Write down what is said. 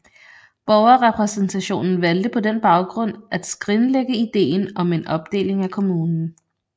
Borgerrepræsentationen valgte på den baggrund at skrinlægge ideen om en opdeling af kommunen